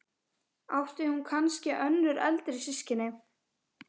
Átti hún kannski önnur eldri systkini?